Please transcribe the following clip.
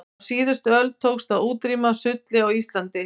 á síðustu öld tókst að útrýma sulli á íslandi